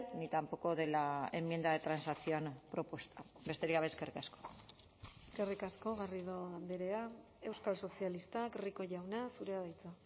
ni tampoco de la enmienda de transacción propuesta besterik gabe eskerrik asko eskerrik asko garrido andrea euskal sozialistak rico jauna zurea da hitza